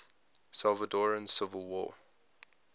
salvadoran civil war